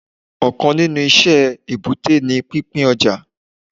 Òkan nínú iṣẹ́ èbúté ni pín pín ọjà